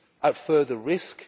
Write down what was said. at further risk.